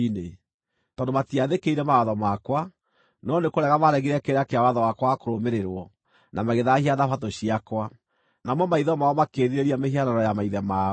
tondũ matiathĩkĩire mawatho makwa, no nĩ kũrega maaregire kĩrĩra kĩa watho wakwa wa kũrũmĩrĩrwo na magĩthaahia Thabatũ ciakwa, namo maitho mao makĩĩrirĩria mĩhianano ya maithe mao.